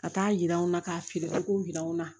Ka taa yira anw na k'a feere k'u yira anw na